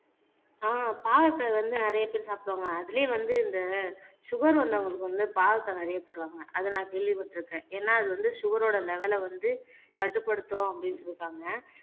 அஹ் பாவக்காய் வந்து நிறைய பேர் சாப்பிடுவாங்க அதிலயே வந்து இந்த சுகர் வந்தவங்களுக்கு வந்து பாவக்காய் நிறைய தருவாங்க அத நான் கேள்விப்பட்டிருக்கேன் ஏன்னா அது வந்து சுகர் ஓட லெவல வந்து கட்டுப்படுத்தும் அப்படின்னு சொல்லிருக்காங்க